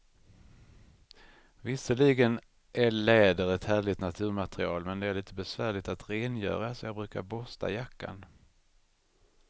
Visserligen är läder ett härligt naturmaterial, men det är lite besvärligt att rengöra, så jag brukar borsta jackan.